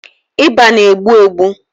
ịba na-egbu egbu.